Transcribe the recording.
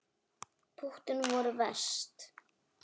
Púttin voru verst.